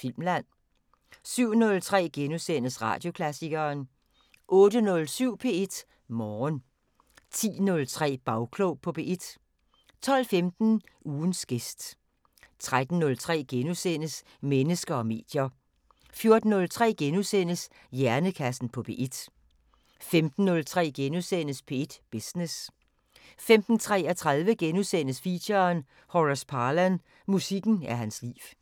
Filmland * 07:03: Radioklassikeren * 08:07: P1 Morgen 10:03: Bagklog på P1 12:15: Ugens gæst 13:03: Mennesker og medier * 14:03: Hjernekassen på P1 * 15:03: P1 Business * 15:33: Feature: Horace Parlan – musikken er hans liv *